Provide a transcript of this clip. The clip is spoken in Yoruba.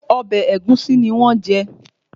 Ọbẹ̀ ẹ̀gúsí ni wọ́n jẹ